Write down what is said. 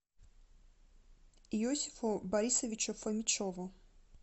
иосифу борисовичу фомичеву